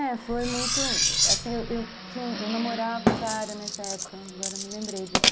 É, foi muito... Assim, eu eu namorava um cara nessa época, agora me lembrei disso.